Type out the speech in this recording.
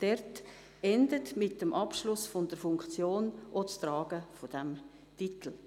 Dort endet mit dem Abschluss der Funktion auch das Tragen dieses Titels.